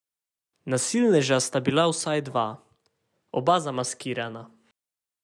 Nasilneža sta bila vsaj dva, oba zamaskirana.